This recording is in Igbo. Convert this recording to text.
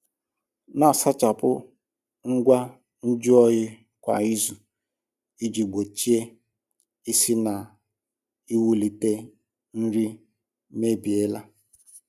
Na-asachapụ ngwa nju oyi kwa izu iji gbochie isi na iwulite nri mebiela.